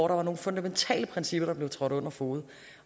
der var nogle fundamentale principper der blev trådt under fode